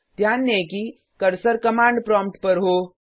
ध्यान दें कि कर्सर कमांड प्रॉम्प्ट पर हो